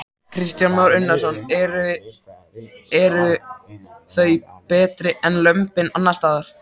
Kristján Már Unnarsson: Eru, eru þau betri en lömbin annarsstaðar?